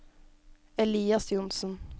Elias Johnsen